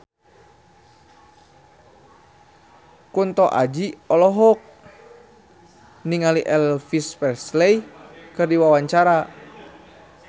Kunto Aji olohok ningali Elvis Presley keur diwawancara